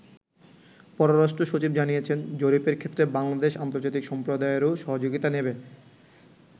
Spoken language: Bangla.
পররাষ্ট্র সচিব জানিয়েছেন, জরিপের ক্ষেত্রে বাংলাদেশ আন্তর্জাতিক সম্প্রদায়েরও সহযোগিতা নেবে।